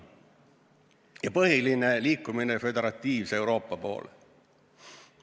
Ja põhiline: liikumine föderatiivse Euroopa poole.